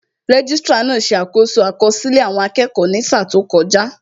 Registrar náà ṣe àkoso àkọsílẹ̀ àwọn akẹ́kọ̀ọ́ ní sáà tó kọjá